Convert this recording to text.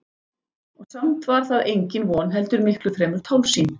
Og samt var það engin von heldur miklu fremur tálsýn.